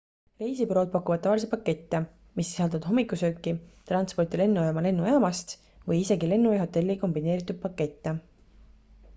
reisibürood pakuvad tavaliselt pakette mis sisaldavad hommikusööki transporti lennujaama/lennujaamast või isegi lennu ja hotelli kombineeritud pakette